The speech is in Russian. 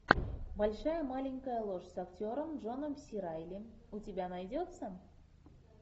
большая маленькая ложь с актером джоном си райли у тебя найдется